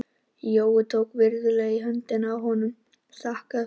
Jói tók virðulega í höndina á honum og þakkaði fyrir leyfið.